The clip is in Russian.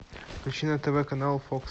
включи на тв канал фокс